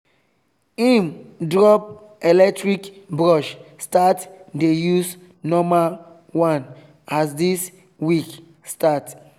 him drop electric brush start dey use normal one as this week start